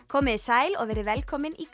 komiði sæl og verið velkomin í